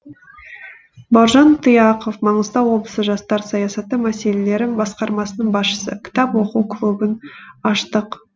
бауыржан тұяқов маңғыстау облысы жастар саясаты мәселелері басқармасының басшысы кітап оқу клубын аштық